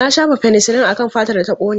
Na shafa fenisilin akan fatar da ta kone.